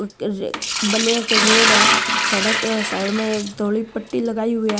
बले एक रोड है सड़क साइड में एक थोड़ी पट्टी लगाई हुई है।